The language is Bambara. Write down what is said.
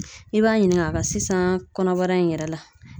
I b'a ɲininka a ka sisan kɔnɔbara in yɛrɛ la.